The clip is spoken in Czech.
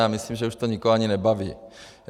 Já myslím, že už to nikoho ani nebaví.